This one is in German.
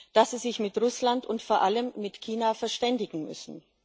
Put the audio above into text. dass sie sich mit Russland und vor allem mit China verständigen müssen.